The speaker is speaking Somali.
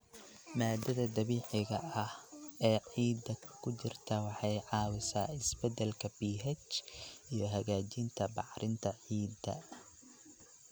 Maaddada dabiiciga ah ee ciidda ku jirta waxay caawisaa isbeddelka pH iyo hagaajinta bacrinta ciidda.